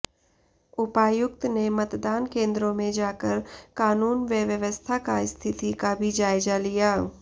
उपायुक्त नेे मतदान केंद्रों में जाकर कानून व व्यवस्था का स्थिति की भी जायजा लिया